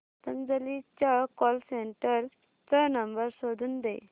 पतंजली च्या call centre चा number शोधून दे